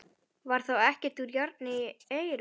Var þá ekkert úr járni á eiröld?